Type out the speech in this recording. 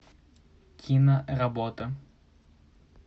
киноработа